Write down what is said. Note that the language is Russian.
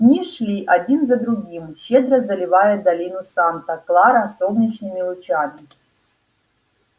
дни шли один за другим щедро заливая долину санта клара солнечными лучами